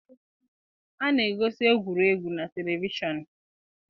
A na-egosi egwuregwu na televishọnụ.